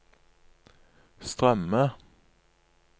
strømme